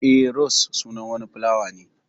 Eh, ros sunan wani filawa ne.